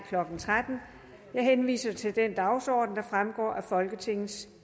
klokken tretten jeg henviser til den dagsorden der fremgår af folketingets